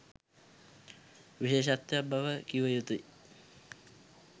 විශේෂත්වයක් බව කිව යුතුයි